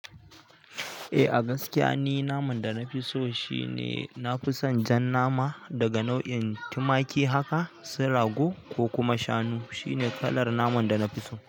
Eh a gaskiya ni naman da na fi so shi ne na fi son jan nama daga nau'in tumaki haka, su rago ko kuma shanu shi ne kalar naman da na fi so.